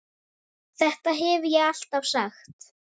Þetta hef ég alltaf sagt!